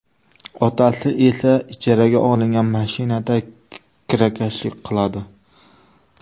Otasi esa ijaraga olingan mashinada kirakashlik qiladi.